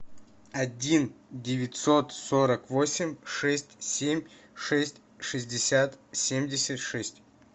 один девятьсот сорок восемь шесть семь шесть шестьдесят семьдесят шесть